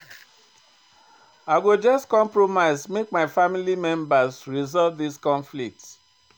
I go just compromise make my family members resolve di conflict.